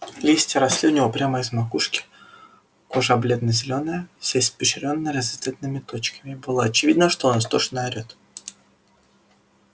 листья росли у него прямо из макушки кожа бледно-зелёная вся испещрённая разноцветными точками и было очевидно что он истошно орет